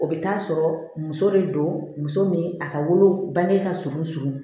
O bɛ taa sɔrɔ muso de don muso ni a ka wolo bange ka surun surun